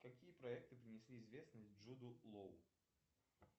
какие проекты принесли известность джуду лоу